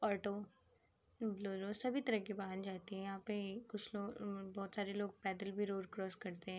Auto Bolero सभी तरीके के वाहन जाते है। यहाँ पे कुछ लोग म्म बहोत सारे लोग पैदल भी रोड क्रॉस करते है।